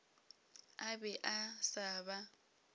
a be a sa ba